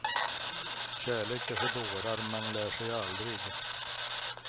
Kärlek är för dårar, man lär sig aldrig.